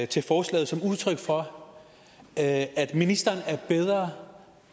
til forslaget som udtryk for at ministeren er bedre